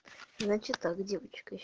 значит так девочка с